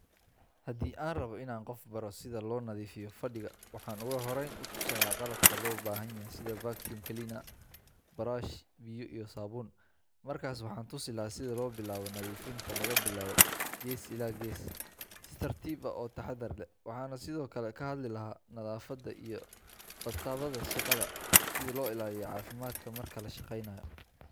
Haddii aan rabo in aan qof baro sida loo nadiifiyo fadhiga, waxaan ugu horreyn tusayaa qalabka loo baahan yahay sida vacuum cleaner, buraash, biyo iyo saabuun. Markaas waxaan tusi lahaa sida loo bilaabo nadiifinta laga bilaabo gees ilaa gees, si tartiib ah oo taxadar leh. Waxaan sidoo kale ka hadli lahaa nadaafadda iyo badqabka shaqada, sida loo ilaaliyo caafimaadka marka la shaqeynayo.